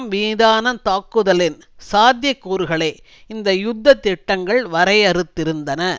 மீதான தாக்குதலின் சாத்திய கூறுகளை இந்த யுத்த திட்டங்கள் வரையறுத்திருந்தன